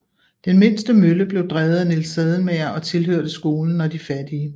Den mindste mølle blev drevet af Niels Sadelmager og tilhørte skolen og de fattige